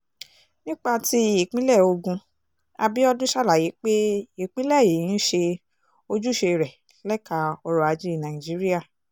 nípa tí ìpínlẹ̀ ogun abiodun ṣàlàyé pé ìpínlẹ̀ yìí ń ṣe ojúṣe rẹ̀ lẹ́ka ọrọ̀-ajé nàìjíríà